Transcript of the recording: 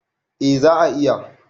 A za a iya